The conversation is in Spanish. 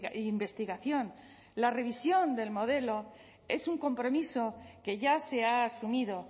e investigación la revisión del modelo es un compromiso que ya se ha asumido